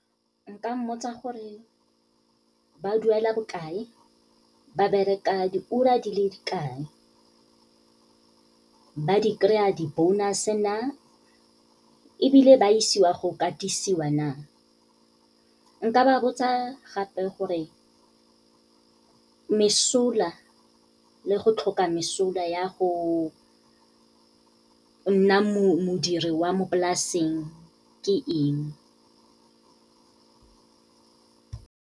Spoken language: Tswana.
Nka mmotsa gore ba duela bokae, ba bereka diura di le kae, ba di kry-a di-bonus-e na, ebile ba isiwa go katisiwa na. Nka ba botsa gape gore, mesola le go tlhoka mesola ya go nna modiri wa mo polaseng ke eng.